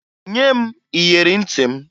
Nye m iyeri ntị m!